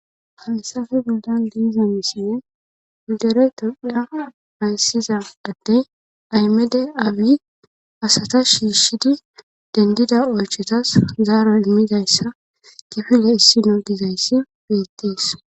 hayissafe boldan diizamisinne hidere tophiya hayssiza adde aymede awi asata shiishidi dendida oychetas zaaro immidayssa kifile issino dizayssi beettees